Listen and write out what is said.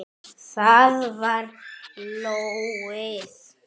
Það var lóðið!